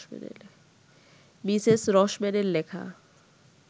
Mrs রসম্যানের লেখা